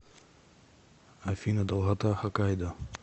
афина долгота хокайдо